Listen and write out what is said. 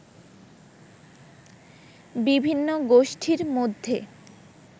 বিভিন্ন গোষ্ঠীর মধ্যে